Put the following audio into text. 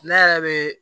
Ne yɛrɛ bɛ